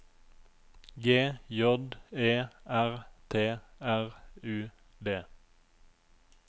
G J E R T R U D